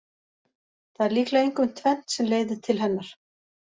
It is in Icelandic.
Það er líklega einkum tvennt sem leiðir til hennar.